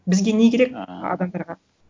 бізге не керек ыыы адамдарға